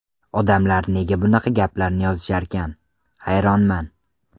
Odamlar nega bunaqa gaplarni yozisharkan, hayronman?